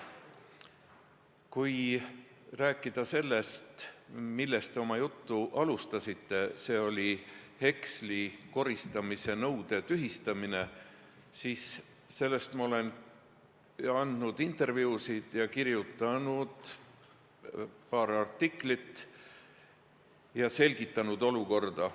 Kui rääkida sellest, millest te oma juttu alustasite – see oli heksli koristamise nõude tühistamine –, siis sel teemal ma olen andnud intervjuusid ja kirjutanud paar artiklit, et olukorda selgitada.